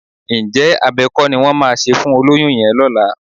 Ǹjẹ́ abẹ kọ́ ni wọ́n máa ṣe fún olóyún yẹn lọ́la?